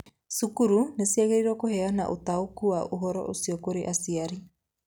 Cukuru nĩ ciagĩrĩirũo kũheana ũtaũku wa ũhoro ũcio kũrĩ aciari.